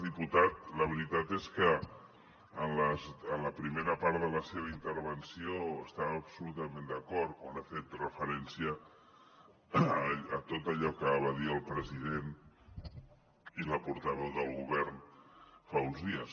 diputat la veritat és que en la primera part de la seva intervenció estava absolutament d’acord quan ha fet referència a tot allò que va dir el president i la portaveu del govern fa uns dies